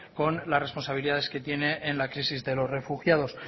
con las responsabilidades que tiene en la crisis de los refugiados